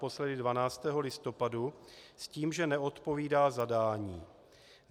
Naposledy 12. listopadu s tím, že neodpovídá zadání.